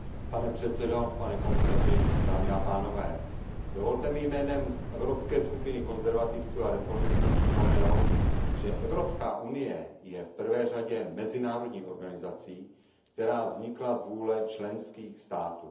Pane předsedající, pane komisaři, dovolte mi jménem Evropské skupiny konzervativců a reformistů připomenout, že Evropská unie je v první řadě mezinárodní organizací, která vznikla z vůle členských států.